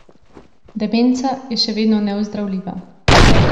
Demenca je še vedno neozdravljiva.